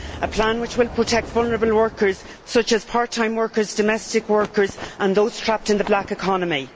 a plan which will protect vulnerable workers such as part time workers, domestic workers and those trapped in the black economy.